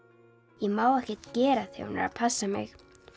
ég má ekkert gera þegar hún er að passa mig